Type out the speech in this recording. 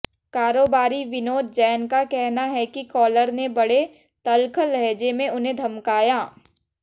कारोबारी विनोद जैन का कहना है कि कॉलर ने बड़े तल्ख लहजे में उन्हें धमकाया